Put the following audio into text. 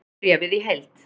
Sjá bréfið í heild